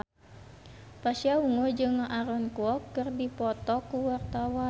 Pasha Ungu jeung Aaron Kwok keur dipoto ku wartawan